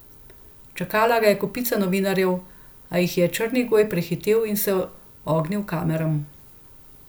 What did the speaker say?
Čakala ga je kopica novinarjev, a jih je Črnigoj prehitel in se ognil kameram.